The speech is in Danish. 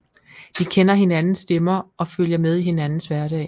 De kender hinandens stemmer og følger med i hinandens hverdag